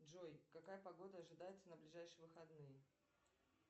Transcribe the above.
джой какая погода ожидается на ближайшие выходные